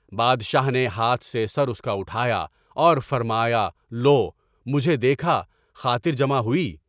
بادشاہ نے ہاتھ سے سر اس کا اٹھایا اور فرمایا، لو! مجھے دیکھا، خاطر جمع ہوئی؟